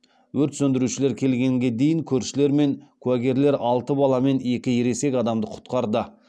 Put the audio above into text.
өрт сөндірушілер келгенге дейін көршілер мен куәгерлер алты бала мен екі ересек адамды құтқарды